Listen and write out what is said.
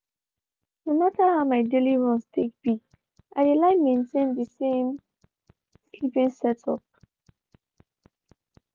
no matter how my daily runs take be i dey like maintain the same sleeping setup.